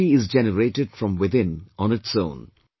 That energy is generated from within on its own